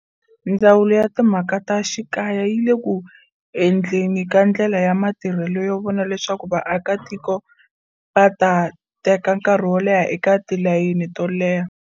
Ndzawulo ya Timhaka ta Xikaya yi le ku endleni ka ndlela ya matirhelo yo vona leswaku vaakitiko va ta teka nkarhi wo leha eka tilayini to leha.